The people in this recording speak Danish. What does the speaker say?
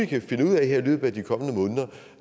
kan finde ud af